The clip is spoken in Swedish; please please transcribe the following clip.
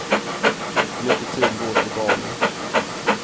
Mycket tid går åt till barnen.